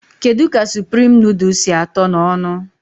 Kedụ ka suprime índomi sị àtó n' ọṅụ?